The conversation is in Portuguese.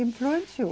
Influenciou.